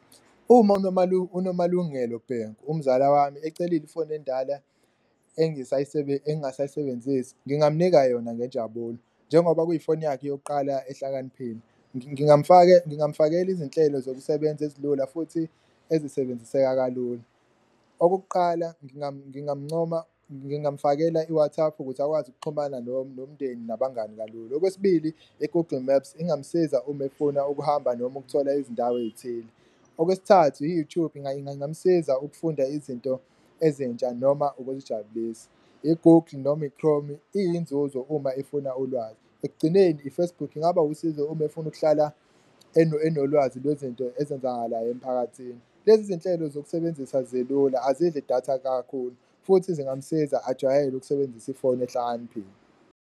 Uma uNomalungelo Bhengu umzala wami ecelile ifoni endala engasayisebenzisi ngingamnika yona ngenjabulo, njengoba kuyifoni yakhe yokuqala ehlakaniphile ngingamfakela izinhlelo zokusebenza ezilula futhi ezisebenziseka kalulu. Okokuqala, ngingamncoma, ngingamfakela i-WhatsApp ukuthi akwazi ukuxhumana nomndeni nabangani kalula. Okwesibili, i-Google Maps ingamsiza uma efuna ukuhamba noma ukuthola izindawo ey'thile. Okwesithathu, i-YouTube ingamsiza ukufunda izinto ezintsha noma ukuzijabulisa, i-Google noma i-Chrome iyinzuzo uma efuna ulwazi, ekugcineni i-Facebook ingaba wusizo uma efuna ukuhlala enolwazi lwezinto ezenzakalayo emphakathini. Lezi zinhlelo zokusebenzisa zilula azidli datha kakhulu futhi zingamsiza ajwayele ukusebenzisa ifoni ehlakaniphile.